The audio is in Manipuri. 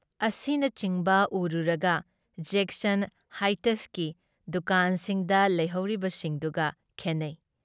ꯄꯔꯦꯡ ꯑꯁꯤꯅꯆꯤꯡꯕ ꯎꯔꯨꯔꯒ ꯖꯦꯛꯁꯟ ꯍꯥꯏꯇꯁꯀꯤ ꯗꯨꯀꯥꯟꯁꯤꯡꯗ ꯂꯩꯍꯧꯔꯤꯕꯁꯤꯡꯗꯨꯒ ꯈꯦꯟꯅꯩ ꯫